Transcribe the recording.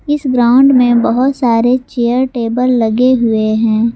इस ग्राउंड में बहुत सारे चेयर टेबल लगे हुए हैं।